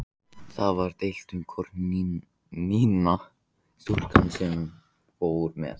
Það var deilt um hvort Nína, stúlkan sem fór með